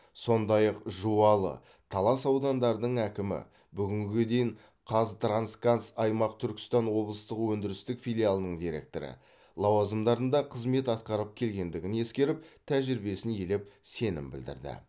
сондай ақ жуалы талас аудандарының әкімі бүгінге дейін қазтрансгаз аймақ түркістан облыстық өндірістік филиалының директоры лауазымдарында қызмет атқарып келгендігін ескеріп тәжірибесін елеп сенім білдірді